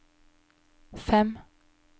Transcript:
fem